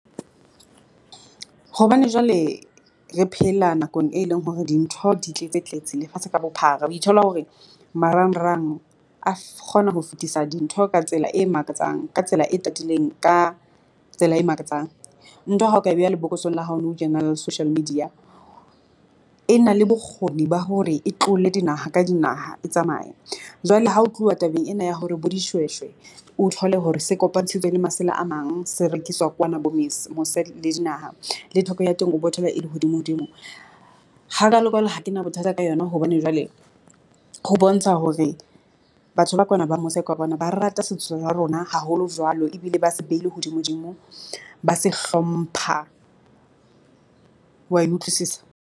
Hobane jwale re phela nakong e leng hore dintho di tletse-tletse lefatshe ka bophara, o thola hore marangrang a kgona ho fetisa dintho ka tsela e makatsang ka tsela e tatileng, ka tsela e makatsang ntho ya hao ka beha lebokoseng la hao nou tjena la social media e na le bokgoni ba hore e tlole dinaha ka dinaha e tsamaya jwale ha ho tluwa tabeng ena ya hore bo dishweshwe. O thole hore se kopantshitswe le masela a mang, se rekiswa kwana bo mose le dinaha le theko ya teng o bo thola e le hodimo-dimo, hakalo-kalo ha ke na bothata ka yona hobane jwale ho bontsha hore batho ba kwana ba mose kwana ba rata setso ya rona haholo jwalo ebile ba se behile hodimo-dimo, ba se hlompha wa e utlwisisa?